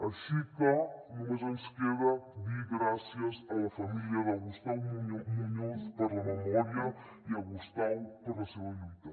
així que només ens queda dir gràcies a la família de gustau muñoz per la memòria i a gustau per la seva lluita